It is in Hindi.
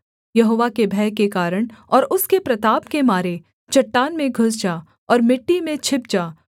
यहोवा के भय के कारण और उसके प्रताप के मारे चट्टान में घुस जा और मिट्टी में छिप जा